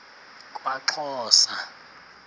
kwaxhosa